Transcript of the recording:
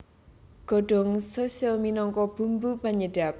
Godhong shiso minangka bumbu panyedhep